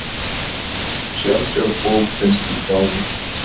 Sjaldgæf bók finnst í gámi